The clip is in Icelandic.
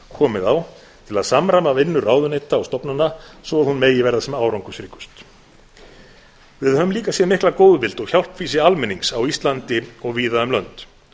komið á til að samræma vinnu ráðuneyta og stofnana svo hún megi verða sem árangursríkust við höfum líka séð mikla góðvild og hjálpfýsi almennings á íslandi og víða um lönd